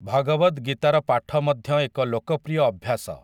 ଭଗବଦ୍ ଗୀତାର ପାଠ ମଧ୍ୟ ଏକ ଲୋକପ୍ରିୟ ଅଭ୍ୟାସ ।